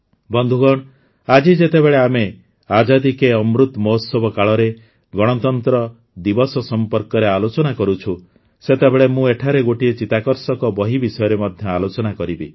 ବନ୍ଧୁଗଣ ଆଜି ଯେତେବେଳେ ଆମେ ଆଜାଦି କେ ଅମୃତ୍ ମହୋତ୍ସବ କାଳରେ ଗଣତନ୍ତ୍ର ଦିବସ ସମ୍ପର୍କରେ ଆଲୋଚନା କରୁଛୁଁ ସେତେବେଳେ ମୁଁ ଏଠାରେ ଗୋଟିଏ ଚିତାକର୍ଷକ ବହି ବିଷୟରେ ମଧ୍ୟ ଆଲୋଚନା କରିବି